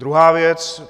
Druhá věc.